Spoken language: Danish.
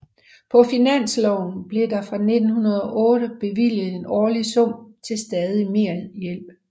På Finansloven blev der fra 1908 bevilget en årlig sum til stadig medhjælp